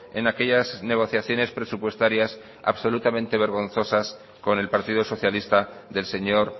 en aquellas negociaciones presupuestarias absolutamente vergonzosas con el partido socialista del señor